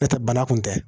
N'o tɛ bana kun tɛ